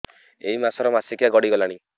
ଏଇ ମାସ ର ମାସିକିଆ ଗଡି ଗଲାଣି